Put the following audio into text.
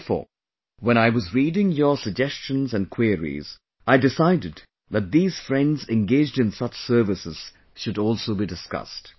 Therefore, when I was reading your suggestions and queries, I decided that these friends engaged in such services should also be discussed